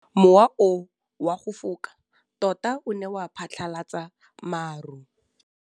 Mowa o wa go foka tota o ne wa phatlalatsa maru.